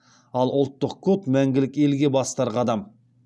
ал ұлттық код мәңгілік елге бастар қадам